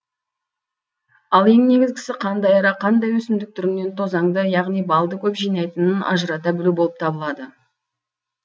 ал ең негізгісі қандай ара қандай өсімдік түрінен тозаңды яғни балды көп жинайтынын ажырата білу болып табылады